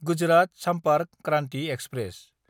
Gujarat Sampark Kranti express